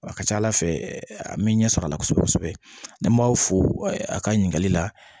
A ka ca ala fɛ an mɛ ɲɛ sɔrɔ a la kosɛbɛ kosɛbɛ n'an m'aw fo a ka ɲininkali la